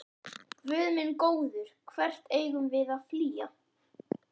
Guð minn góður, hvert eigum við að flýja?